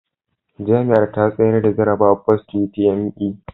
Jami'ar ta tsayar da jarrabawar Post utme